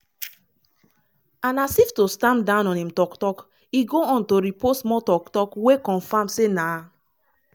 and as if to stamp down on im tok-tok e go on to repost more tok-tok wey confam say na